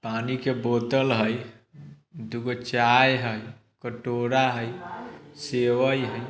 पानी के बोतल है। दोगो चाय है। कटोरा है। सेवई है ।